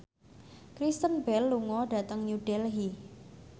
Kristen Bell lunga dhateng New Delhi